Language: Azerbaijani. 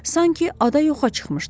Sanki ada yoxa çıxmışdı.